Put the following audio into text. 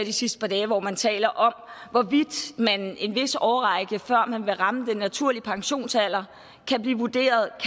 de sidste par dage hvor man taler om hvorvidt man i en vis årrække før man vil ramme den naturlige pensionsalder kan blive vurderet i